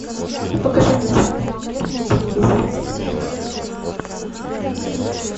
покажи мне телеканал мир на телевизоре